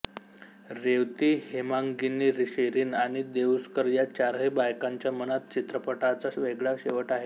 रेवती हेमांगिनी शिरीन आणि देउस्कर या चारही बायकांच्या मनात चित्रपटाचा वेगळा शेवट आहे